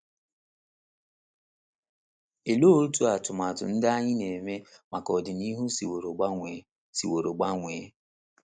Olee otú atụmatụ ndị anyị na - eme maka ọdịnihu siworo gbanwee siworo gbanwee?